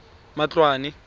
matloane